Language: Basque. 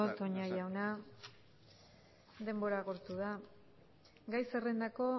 toña jauna denbora agortu da gai zerrendako